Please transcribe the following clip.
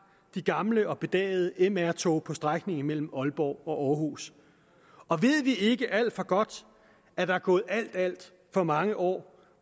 de gamle og bedagede mr tog på strækningen mellem aalborg og aarhus og ved vi ikke alt for godt at der er gået alt alt for mange år